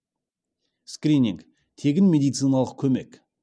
скрининг тегін медициналық көмек